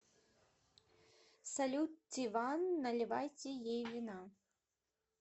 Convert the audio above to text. салют тиван наливайте ей вина